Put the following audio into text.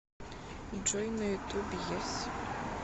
джой на ютуб ес